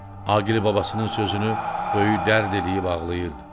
Aqil babasının sözünü böyük dərd eləyib ağlayırdı.